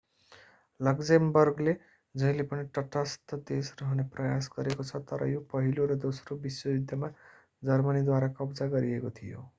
लक्जेमबर्गले जहिले पनि तटस्थ देश रहने प्रयास गरेको छ तर यो पहिलो र दोस्रो विश्वयुद्धमा जर्मनीद्वारा कब्जा गरिएको थियो